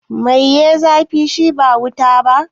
Mai ya yi zafi, shi ba wuta ba?